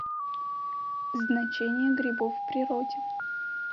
значение грибов в природе